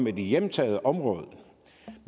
et hjemtaget område